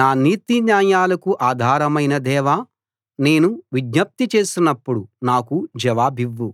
నా నీతిన్యాయాలకు ఆధారమైన దేవా నేను విజ్ఞప్తి చేసినప్పుడు నాకు జవాబివ్వు